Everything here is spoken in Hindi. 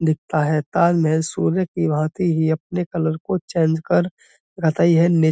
दिखता है। ताल में सूर्य की भांति ही अपने कलर को चेंज कर है। ने --